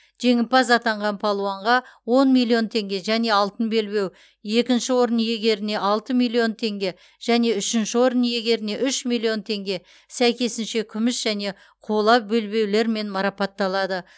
жеңімпаз атанған балуанға он миллион теңге және алтын белбеу екінші орын иегеріне алты миллион теңге және үшінші орын иегеріне үш миллион теңге сәйкесінше күміс және қола белбеулермен марапатталады